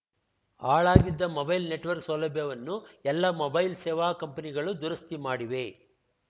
ಹಾಳಾಗಿದ್ದ mobile network ಸೌಲಭ್ಯವನ್ನು ಎಲ್ಲ mobile ಸೇವಾ ಕಂಪೆನಿಗಳು ದುರಸ್ತಿ ಮಾಡಿವೆ